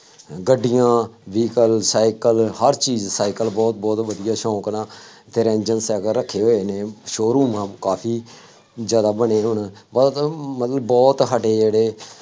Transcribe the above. ਗੱਡੀਆਂ vehicle cycle ਹਰ ਚੀਜ਼, ਸਾਈਕਲ ਬਹੁਤ ਬਹੁਤ ਵਧੀਆਂ ਸੌਂਕ ਨਾ, ਅਤੇ ਰੇਂਜ਼ਰ ਸਾਈਕਲ ਰੱਖੇ ਹੋਏ ਨੇ, showroom ਆਂ ਕਾਫੀ ਜ਼ਿਆਦਾ ਬਣੇ ਹੁਣ, ਬੱਸ ਮੈਨੂੰ ਬਹੁਤ ਸਾਡੇ ਜਿਹੜੇ